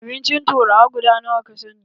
Abincin turawa guda nawa ka sani?